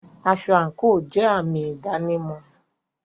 Aṣọ àńkò jẹ àmì ìdánimọ̀.